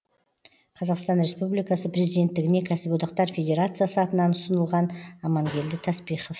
қазақстан республикасы президенттігіне кәсіподақтар федерациясы атынан ұсынылған амангелді таспихов